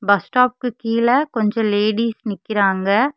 பஸ்ஸ்டாப்க்கு கீழ கொஞ்ச லேடீஸ் நிக்கிறாங்க.